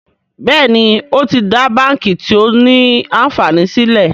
Béèni o tí dá bánkì tio ní ànfàní sílè.